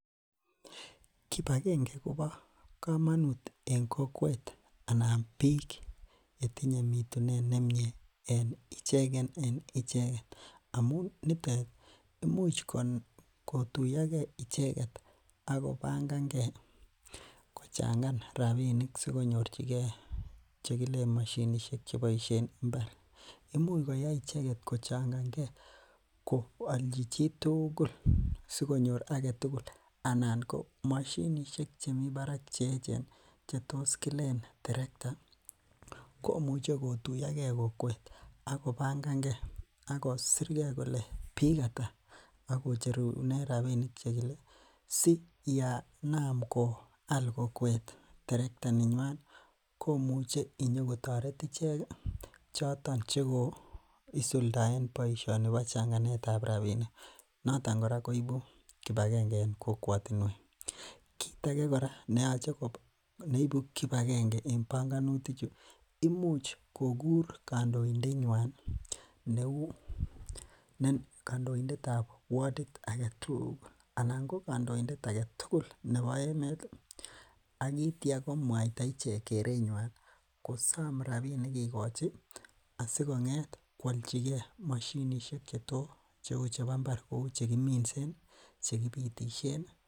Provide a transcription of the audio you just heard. Kibakenge kobokomonut en kokwet anan biik chetinye mitunet nemnye en icheken en icheken imuch amun nitet imuch kotuyoke icheket ak kobangang'e kochang'an rabinik sikonyorchike chekilen moshinishek cheboishe en imbar, imuch koyai icheket kochangang'e ko olchi chitukul sikonyor aketukul anan ko moshinishek chemii barak chetos kilelen terekta komuche kotuyoke kokwet ak kobangange ak kosirke kolee biik ataa ak kocherunen rabinik chekile siyenam kwal kokwet terekta nenywan komuche kotoret ichek choton chekoisuldaen boishoni nebo changanetab rabinik noton kora koibu kibakenge en kokwotinwek, kiit akee kora neyoche neibu kibakenge en bongonutichu imuch kokur kondoindenywan neuu ne kondoindetab wodit aketukul anan ko kondoindet aketukul nebo emet ak kityo kowaita ichek kerenywan kosom rabinik kikochi asikong'et kwolchike moshinishek cheto cheu chebo mbar kouu che kiminsen che kibitishen.